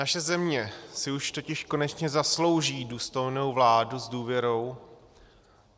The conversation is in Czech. Naše země si už totiž konečně zaslouží důstojnou vládu s důvěrou.